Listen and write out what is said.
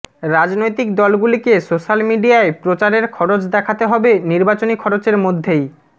রাজনৈতিক দলগুলিকে সোশ্যাল মিডিয়ায় প্রচারের খরচ দেখাতে হবে নির্বাচনী খরচের মধ্যেই